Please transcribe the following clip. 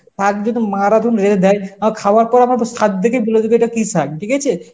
শাগ যদি মা রা যদি রেধে দেয় অ্যাঁ খাওয়ার পর আমরা তো শাগ দেখেই বলে দেবো এটা কি শাগ, ঠিক আছে?